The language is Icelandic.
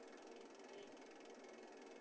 Nei, nei, sagði ég.